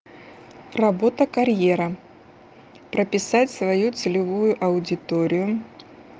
работа карьера прописать свою целевую аудиторию